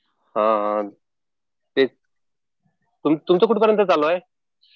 अ ते तुमचं कुठपर्यत चालू आहे?